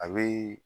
A bɛ